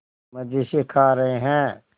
मज़े से खा रहे हैं